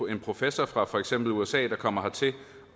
en professor fra for eksempel usa der kommer hertil og